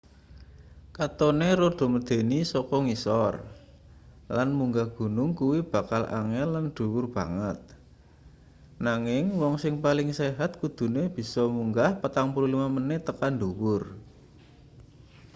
katone rada medeni saka ngisor lan munggah gunung kuwi bakal angel lan dhuwur banget nanging wong sing paling sehat kudune bisa munggah 45 menit tekan ndhuwur